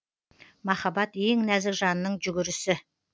махаббат ең нәзік жанның жүгірісі